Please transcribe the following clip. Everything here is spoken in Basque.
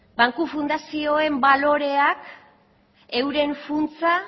banku fundazioen balorean euren funtsa